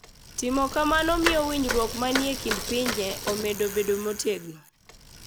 Timo kamano miyo winjruok manie kind pinje omedo bedo motegno.